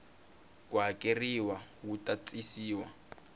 ku hakeleriwa wu ta tisiwa